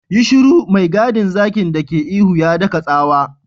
Yi shiru! mai gadin zakin dake ihu, ya daka tsawa.